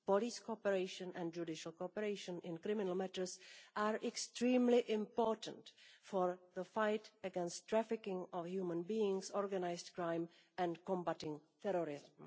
Police cooperation and judicial cooperation in criminal matters are extremely important in the fight against trafficking of human beings, organised crime and combating terrorism.